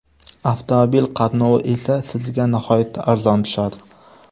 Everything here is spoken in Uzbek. Avtomobil qatnovi esa sizga nihoyatda arzon tushadi.